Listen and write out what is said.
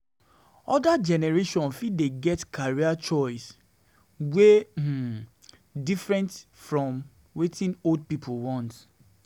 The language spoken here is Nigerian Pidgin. Oda generation fit dey get career choice wey um different from wetin old pipo want.